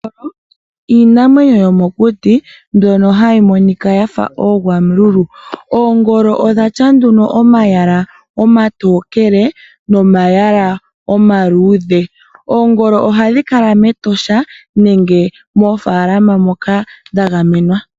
Oongolo iinamwenyo yomokuti mbyono hayi monika ya fa oogwamululu. Oongolo odhi na omayala omatokele nomayala omaluudhe. Oongolo ohadhi kala mEtosha nenge moofaalama moka dha gamenwa.